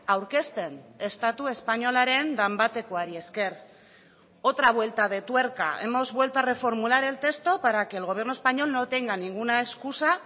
aurkezten estatu espainolaren danbatekoari esker otra vuelta de tuerca hemos vuelto a reformular el texto para que el gobierno español no tenga ninguna excusa